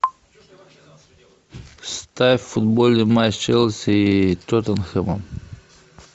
ставь футбольный матч челси и тоттенхэма